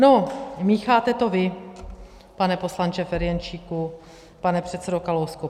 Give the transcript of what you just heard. No, mícháte to vy, pane poslanče Ferjenčíku, pane předsedo Kalousku.